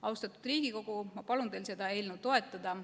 Austatud Riigikogu, ma palun teil seda eelnõu toetada.